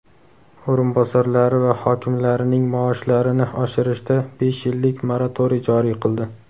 o‘rinbosarlari va hokimlarining maoshlarini oshirishga besh yillik moratoriy joriy qildi.